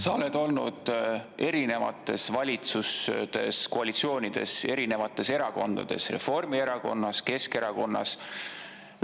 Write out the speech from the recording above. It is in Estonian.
Sa oled olnud erinevates valitsuskoalitsioonides, erinevates erakondades: Reformierakonnas, Keskerakonnas.